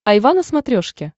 айва на смотрешке